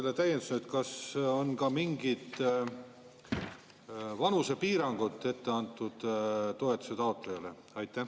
Ja täiendusena: kas on ka mingid vanusepiirangud ette antud toetuse taotlejale?